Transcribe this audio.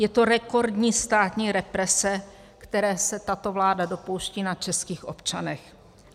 Je to rekordní státní represe, které se tato vláda dopouští na českých občanech.